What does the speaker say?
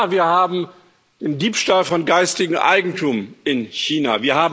Ja, wir haben den Diebstahl von geistigem Eigentum in China.